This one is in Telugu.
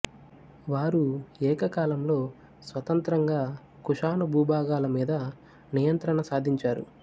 వారు ఏకకాలంలో స్వతంత్రంగా కుషాను భూభాగాల మీద నియంత్రణ సాధించారు